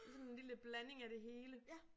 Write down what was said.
I sådan en lille blanding af det hele